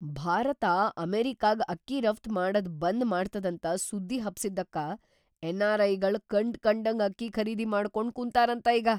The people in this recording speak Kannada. ಭಾರತ ಅಮೆರಿಕಾಗ್ ಅಕ್ಕಿ ರಫ್ತ್ ಮಾಡದ್‌ ಬಂದ್‌ ಮಾಡ್ತದಂತ ಸುದ್ದಿ ಹಬ್ಸಿದ್ದಕ್ಕ ಎನ್.‌ಆರ್.ಐ.ಗಳ್‌ ಕಂಡ್‌ಕಂಡಂಗ್ ಅಕ್ಕಿ ಖರೀದಿ ಮಾಡ್ಕೊಂಡ್ ಕುಂತಾರಂತ ಈಗ!